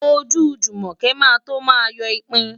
Ojú Jùmọ̀kẹ́ máa tó máa yọ ipin.